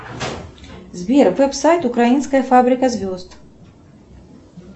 сбер веб сайт украинская фабрика звезд